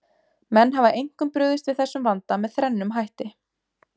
Menn hafa einkum brugðist við þessum vanda með þrennum hætti.